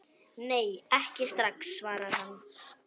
Nei, ekki strax, svarar hann.